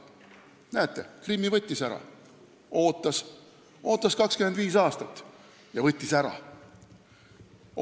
Näete, Krimmi ta võttis ära – ootas 25 aastat ja võttis ära.